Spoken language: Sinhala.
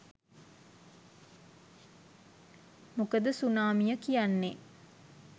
මොකද සුනාමිය කියන්නෙ